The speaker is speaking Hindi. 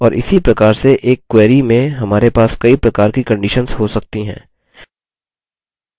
और इसी प्रकार से एक query में हमारे पास कई प्रकार की conditions हो सकती हैं